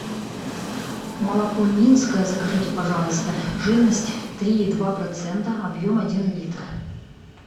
молоко минское закажите пожалуйста жирность три и два процента объем один литр